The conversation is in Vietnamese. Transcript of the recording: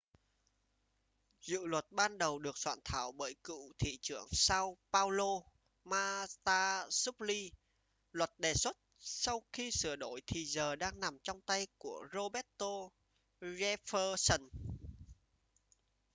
dự luật ban đầu được soạn thảo bởi cựu thị trưởng sao paolo marta suplicy luật đề xuất sau khi sửa đổi thì giờ đang nằm trong tay của roberto jefferson